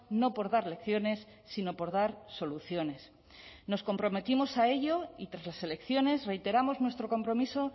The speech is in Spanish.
no por dar lecciones sino por dar soluciones nos comprometimos a ello y tras las elecciones reiteramos nuestro compromiso